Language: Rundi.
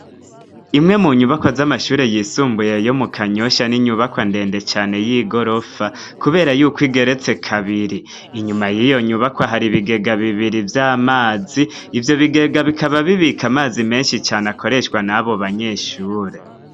Imwe mu nyubako z'amashuri yisumbuye yo mu kanyosha ,n'inyubakwa ndende cane y'igorofa ,kubera yuko igeretse kabiri inyuma yiyo nyubakwa hari bigega bibiri vy'amazi ,ivyo bigega bikaba bibika amazi menshi cane akoreshwa nabo banyeshure.